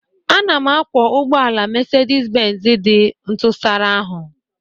Ana m akwọ ụgbọ ala Mercedes Benz dị ntụsara ahụ